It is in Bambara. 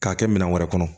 K'a kɛ minɛn wɛrɛ kɔnɔ